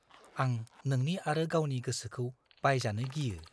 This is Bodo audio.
आं नोंनि आरो गावनि गोसोखौ बायजानो गियो।